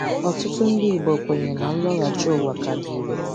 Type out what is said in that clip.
Otụtụ ndị igbo kwenyere na nloghachi ụwa ka dị ire.